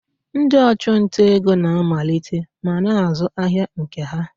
Ndị ọchụnta ego na-amalite ma na-azụ ahịa nke ha.